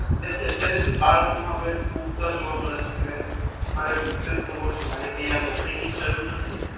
એટલે હવે અત્યારથી જ બાળકો મા આટલો ઉત્સાહ જોવા મળે છે કે મારે બિજનેસ કરવો છે મારે કઈ આ નોકરી ની જરૂર નથી.